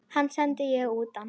Hann sendi ég utan.